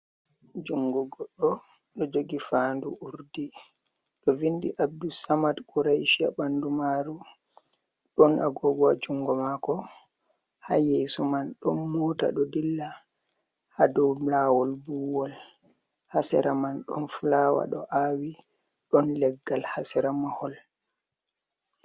Jungo goɗɗo do jogi faandu urdigo do vindi Abdulsamad quraishi ha bandu maaru, ɗon agogo haa jungo maako, Ha yeeso mai do mota do dilli ha doulawol vuiwol, Haa sera man ɗon fulawa ɗo awi, ɗon leggal haa sera mahol.